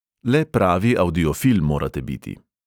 Le pravi avdiofil morate biti.